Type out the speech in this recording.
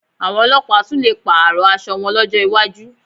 Àwọn ọlọ́pàá tún lè pààrọ̀ aṣọ wọn lọ́jọ́ iwájú